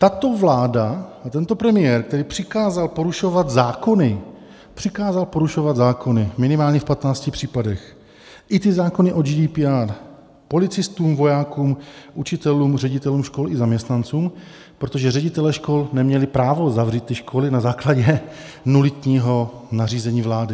- Tato vláda a tento premiér, který přikázal porušovat zákony, přikázal porušovat zákony minimálně v 15 případech, i ty zákony o GDPR, policistům, vojákům, učitelům, ředitelům škol i zaměstnancům, protože ředitelé škol neměli právo zavřít ty školy na základě nulitního nařízení vlády.